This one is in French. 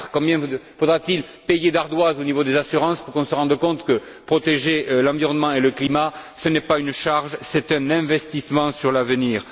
Combien faudra t il payer d'ardoises au niveau des assurances pour qu'on se rende compte que protéger l'environnement et le climat, ce n'est pas une charge, c'est un investissement sur l'avenir.